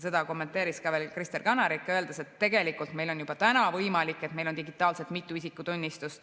Seda kommenteeris veel Kristen Kanarik, öeldes, et tegelikult meil on juba võimalik, et on digitaalselt mitu isikutunnistust.